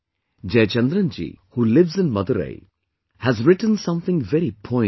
Jayachandran ji, who lives in Madurai, has written something very poignant